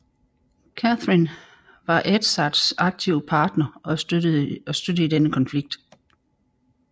Catherine var Edzards aktive partner og støtte i denne konflikt